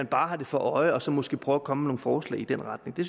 bare har det for øje og så måske prøver at komme med nogle forslag i den retning det